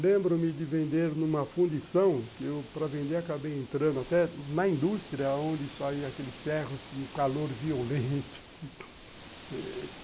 Lembro-me de vender numa fundição, que eu para vender acabei entrando até na indústria, onde saiam aqueles ferros com calor violento.